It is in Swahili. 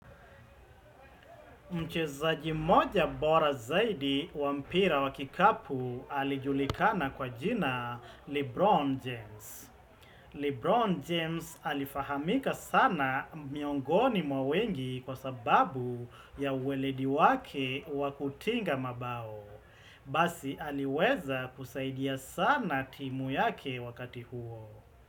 Mchezaji moja bora zaidi wampira wakikapu alijulikana kwa jina Lebron James. Lebron James alifahamika sana miongoni mwawengi kwa sababu ya uweledi wake wakutinga mabao. Basi aliweza kusaidia sana timu yake wakati huo.